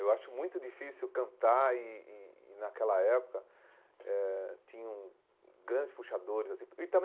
Eu acho muito difícil cantar e e e naquela época eh tinham grandes puxadores assim e também.